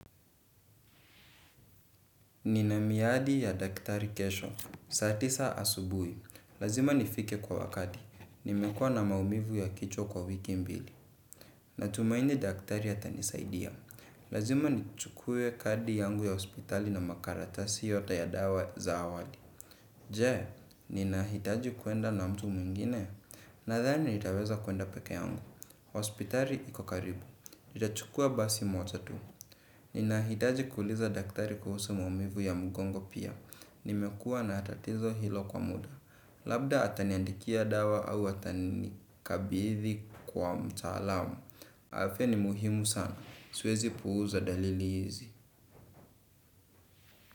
Nina miadi ya daktari kesho, saa tisa asubuhi, lazima nifike kwa wakati, nimekuwa na maumivu ya kichwa kwa wiki mbili, na tumaini daktari atanisaidia, lazima nichukue kadi yangu ya hospitali na makaratasi yote ya dawa za awali. Je, ninahitaji kuenda na mtu mwingine, nadhani nitaweza kwenda pekee yangu, hospitali ikokaribu, nitachukua basi moja tu. Ninahitaji kuuliza daktari kuhusu maumivu ya mgongo pia, nimekuwa na tatizo hilo kwa muda, labda ataniandikia dawa au atani kabidhi kwa mtaalamu. Afya ni muhimu sana, siwezi puuza dalili hizi.